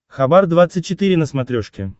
хабар двадцать четыре на смотрешке